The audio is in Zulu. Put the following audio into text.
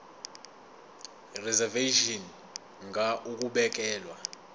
reservation ngur ukubekelwa